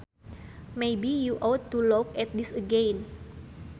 Maybe you ought to look at this again